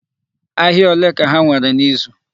Ahịa olee ka ha nwere n'izu?